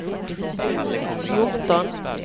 fjorton